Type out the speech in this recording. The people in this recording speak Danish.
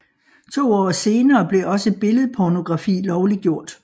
To år senere blev også billedpornografi lovliggjort